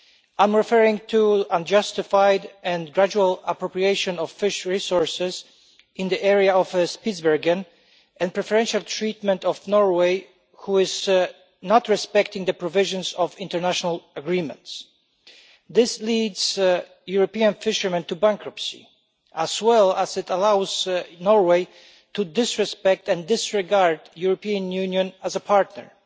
I am referring to the unjustified and gradual appropriation of fish resources in the area of Spitsbergen and the preferential treatment of Norway, which does not respect the provisions of international agreements. This leads European fishermen into bankruptcy, as well as allowing Norway to disrespect and disregard the European Union as a partner.